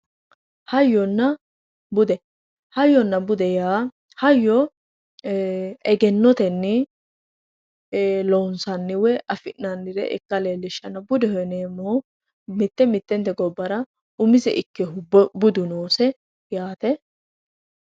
Hayyonna bude yaa hayyo egennotenni loonsanni woy afi'nannire ikka leellishshanno budeho yineemmohu mitte mittente gobbara umiseha ikkewoohu budu noose yaate